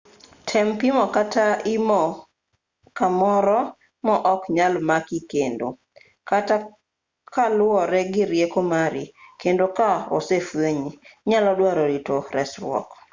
tem pimo kata imo kamoro ma ok nyal maki kendo kata kaluore gi rieko mari kendo ka osefwenyi inyalo dwaro rito resruok.